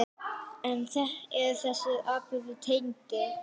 En eru þessir atburðir tengdir?